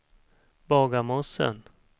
Bagarmossen